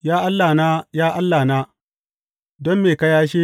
Ya Allahna, ya Allahna, don me ka yashe ni?